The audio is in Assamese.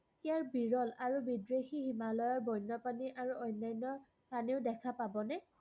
ইয়াৰ বিৰল আৰু বিদেশী হিমালয়ৰ বন্যপ্ৰাণী আৰু অন্যান্য স্থানেও দেখা পাবনে?